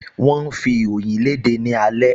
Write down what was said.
Wọ́n ń fi ìròyìn léde ní alẹ́